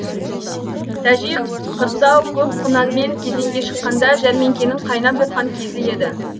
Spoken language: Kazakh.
тәжи қырсау көк құнанмен кезеңге шыққанда жәрмеңкенің қайнап жатқан кезі еді